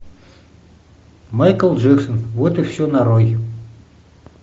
майкл джексон вот и все нарой